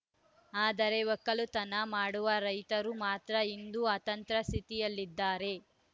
ಆದರೆ ಒಕ್ಕಲುತನ ಮಾಡುವ ರೈತರು ಮಾತ್ರ ಇಂದು ಅತಂತ್ರದ ಸ್ಥಿತಿಯಲ್ಲಿದ್ದಾರೆ